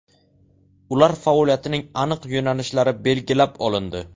Ular faoliyatining aniq yo‘nalishlari belgilab olindi.